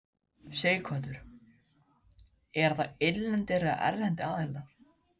Sighvatur: Eru það innlendir eða erlendir aðilar?